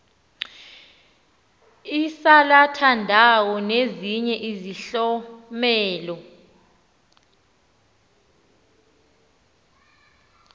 isalathandawo nezinye izihlomelo